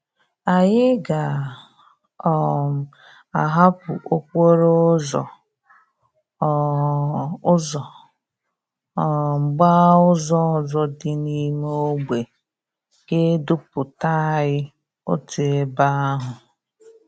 Anyi ga um ahapú okporo úzò um úzò um gbaa úzò òzò di n'ime ogbe ga eduputa anyi otu ebe ahú.